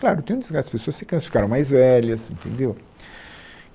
Claro, tem um desgaste, as pessoas se cansam, ficaram mais velhas, entendeu?